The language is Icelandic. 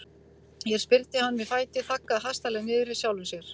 Hér spyrnti hann við fæti, þaggaði hastarlega niður í sjálfum sér.